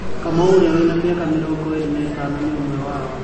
Kamau ũrĩa wĩna mĩaka mĩrongo ĩrĩ na ĩtano nĩ ũmwe wao.